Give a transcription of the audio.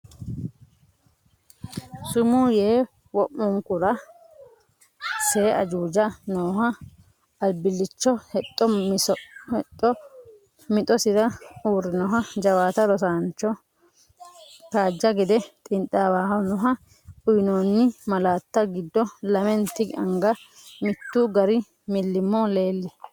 Sumuu yee wo’munkura see Ajuuja nooho albillichote hexxo mixosira uurrinoho Jawaate rosannoho, kajja gede xiinxaawannoho, Uyinoonni malaatta giddo lamenti anga mittu gari millimmo leel?